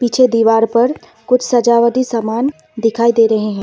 पीछे दीवार पर कुछ सजावटी सामान दिखाई दे रहे हैं।